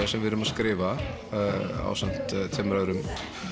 sem við erum að skrifa ásamt tveimur öðrum